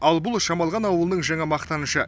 ал бұл шамалған ауылының жаңа мақтанышы